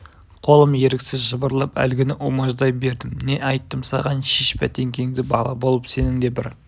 қолым еріксіз жыбырлап әлгіні умаждай бердім не айттым саған шеш бәтеңкеңді бала болып сенің де бір